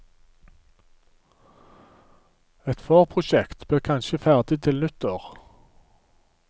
Et forprosjekt blir kanskje ferdig til nyttår.